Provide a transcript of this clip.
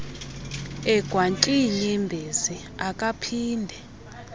egwantyi iinyembezi akaphinde